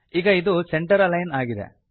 ಈಗ ಇದು centre align ಆಗಿದೆ